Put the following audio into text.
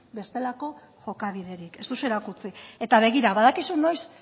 bestelako jokabiderik ez duzue erakutsi eta begira badakizu noiz